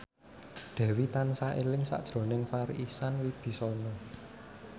Dewi tansah eling sakjroning Farri Icksan Wibisana